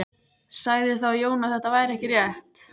Sagði þá Jón að þetta væri ekki rétt.